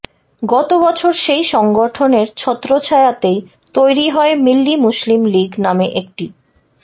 গত বছর সেই সংগঠনের ছত্রছায়াতেই তৈরি হয় মিল্লি মুসলিম লিগ নামে একটি